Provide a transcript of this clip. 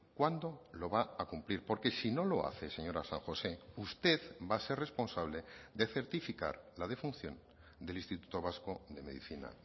cuándo lo va a cumplir porque si no lo hace señora san josé usted va a ser responsable de certificar la defunción del instituto vasco de medicina